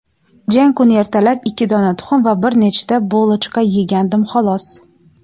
Jang kuni ertalab ikki dona tuxum va bir nechta "bulochka" yegandim xolos.